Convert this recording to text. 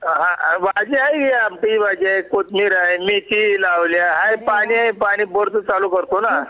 हा भाजी आहे कि ती म्हणजे कोथंबीर आहे मेथी लावली पाणी पाणी बोर चालू करतो ना